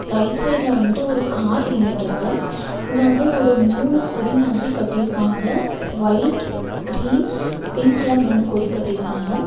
Right சைடுல வந்துட்டு ஒரு கார் நின்னுட்ருக்கு இங்க வந்து மூணு கொடி மாதிரி கட்டி இருக்காங்க ஒயிட் கிரீன் பிங்க்ல மூணு கொடி கட்டிருக்காங்க.